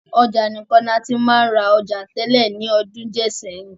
Ọjà nìkan ni a ti máa ń ra ọjà tẹ́lẹ̀ ní ọdún díè sẹ́yìn.